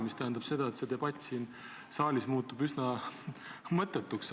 See tähendab, et see debatt siin saalis muutub üsna mõttetuks.